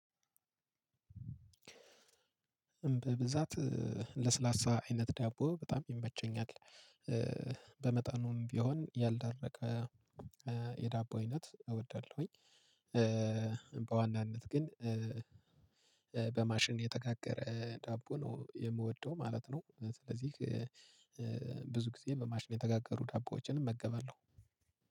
በብዛት ለስላሳ አይነት ዳቦ በጣም ይመቸኛል። በመጠኑም ቢሆን ያልደረቀ የዳቦ አይነት እወዳለሁኝ። በዋናነት ግን በማሽን የተጋገረ ዳቦ ነው የምወደው ማለት ነው። ስለዚህ ብዙ ጊዜ በማሽን የተጋገሩ ዳቦዎችንም እመገባለው።